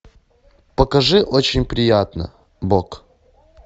покажи очень приятно бог